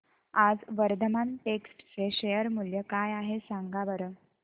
आज वर्धमान टेक्स्ट चे शेअर मूल्य काय आहे सांगा बरं